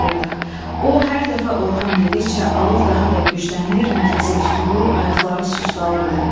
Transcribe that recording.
O, hər dəfə Orxan dedikcə alov daha da güclənir, nəfəsi tutulur, ayaqları susdallırdı.